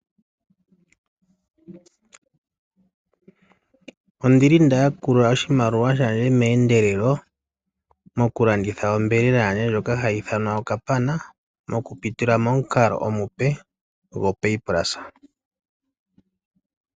Ondili nda yakula oshimaliwa shandje meendelelo moku landitha onyama yandje ndjoka hayi ithanwa okapana, moku pitila momukalo omupe gwoPayPulse.